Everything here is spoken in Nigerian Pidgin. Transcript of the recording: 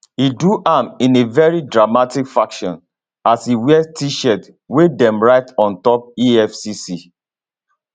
e do am in a very dramatic fashion as e wear tshirt wey dem write on top efcc